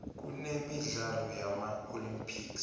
kunemidlalo yama olympics